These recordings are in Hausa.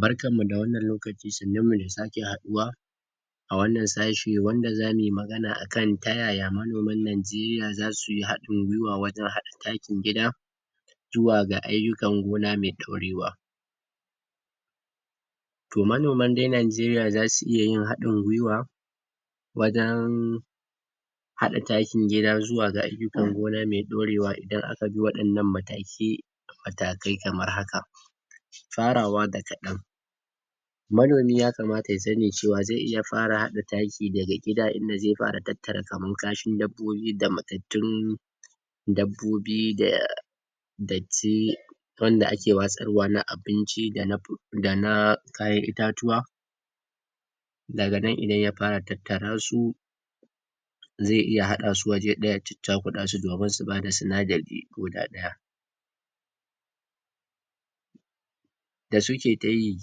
Barkanmu da wannan lokaci, sannin mu da sake haɗuwa A wannan sashe wanda zamuyi magana akan Ta yaya manoman najeriya zasu yi hadin gwiwa wajen haɗa takin gida Zuwa ga ayukan gona mai ɗaure wa Toh manoman dai najeriya zasu iya yin haɗin gwiwa Wajen, Haɗa takin gida zuwa ga ayukan gona mai ɗaurewa idan aka bi wanɗannan mataki Matakai kamar haka Farawa da kaɗan Manomi ya kamata ya sani cewa zai iya Fara haɗa taki daga gida inda zai fara tattara kaman kashin dabbobi da, Mattattun Dabbobi da,.. Darti Wanda ake watsarwa na abinci dana, Dana Kayan itatuwa Daga nan idan ya fara tattara su Zai iya haɗa su waje ɗaya Chakuɗa su domin su bada sinadari koda ɗaya Da suke tayi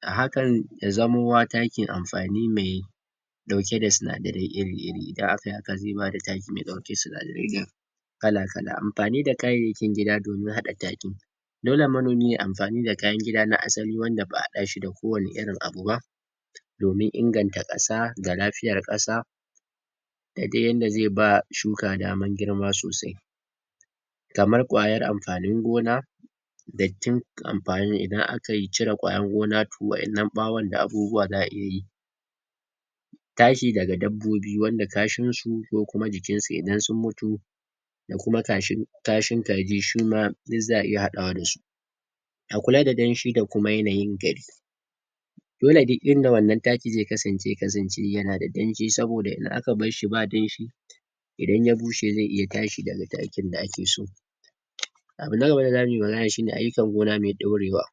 Umm hakan Ya zamo taki mai amfani mai ɗauke da sinatarai ire ire idan akai haka zai bar taki mai ɗauke da sinadarai ire ire kala kala Amfani da kayayyakin gida domin haɗa taki Dole manomi yayi amfani da kayan gida na asali wanda ba'a haɗashi da kowane irin abu ba Domin inganta kasa ga lafiyar kasa Dadai yanda zai bah Shuka daman girma sosai kamar kwayar amfanin gona Dartin amfani idan akai cire kwarin gona To wa'ennan ɓawon da abubuwan za'a iyayi Tashi daga dabbobi wanda kashin su ko kuma jikin su idan sun mutu Da kuma kashin Kashin kaji shuma Duk za'ai iya haɗawa dasu Ga kuma da danshi da kuma yanayin gari Dole duk inda wannan taki zai kasance zai kasance da danshi saboda idan aka barshi ba danshi Abu na gaba da zamuyi magana shine ayukan gona mai ɗaure wa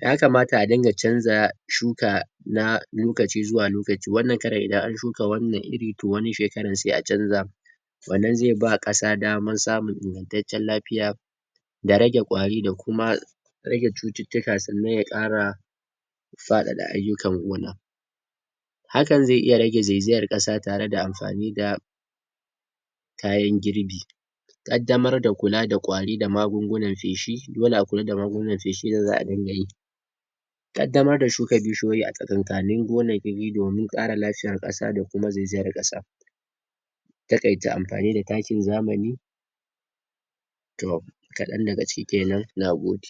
Ya kamata a dinga chanza Shuka Na Lokaci zuwa lokaci wannan karen idan an shuka wannan ire Toh wani shekaran sai a chanza Wannan zai ba kasa dama samun ingantaccen lafiya Da rage kwari da kuma Rage cuttutuka sannan ya ƙara Faɗaɗa ayukan gona Hakan zai iya rage zaizayar kasa tare da amfani da ƴaƴan girbi ƙaddamar da kula da kwari da magungunan feshi Dole akwai yadda magungunan ƙaddamar da shuka bishiyoyi a tsakankanin gonaki domin ƙara lafiyar kasa da kuma zai zayar kasa Taƙaita amfani da takin zamani Toh, Kaɗan daga ciki kenan na gode